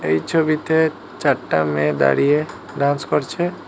এই ছবিতে চারটা মেয়ে দাঁড়িয়ে ড্যান্স করছে।